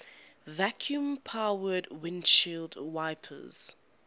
vacuum powered windshield wipers